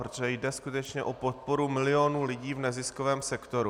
Protože jde skutečně o podporu milionů lidí v neziskovém sektoru.